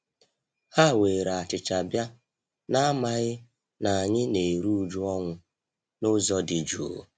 Ha were achicha bia, n'amaghị na anyị na-eru uju ọnwụ n'ụzọ dị juu.